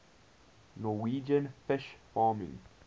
norwegian fish farming